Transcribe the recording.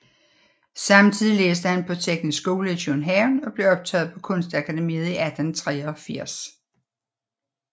Samtidig læste han på Teknisk Skole i København og blev optaget på Kunstakademiet i 1883